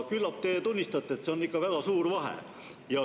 Küllap te tunnistate, et see on ikka väga suur vahe.